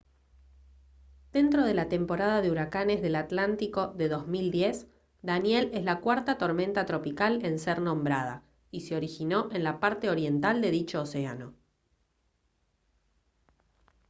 dentro de la temporada de huracanes del atlántico de 2010 danielle es la cuarta tormenta tropical en ser nombrada y se originó en la parte oriental de dicho océano